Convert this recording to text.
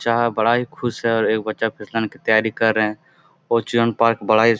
है बड़ा ही खुश है और एक बच्चा फिसलन की तैयारी कर रहे हैं और जीवन पार्क बड़ा ही --